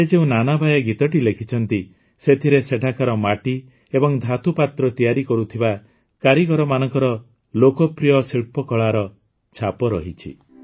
ସେ ଯେଉଁ ନାନାବାୟା ଗୀତଟି ଲେଖିଛନ୍ତି ସେଥିରେ ସେଠାକାର ମାଟି ଏବଂ ଧାତୁ ପାତ୍ର ତିଆରି କରୁଥିବା କାରିଗରମାନଙ୍କ ଲୋକପ୍ରିୟ ଶିଳ୍ପକଳାର ଛାପ ରହିଛି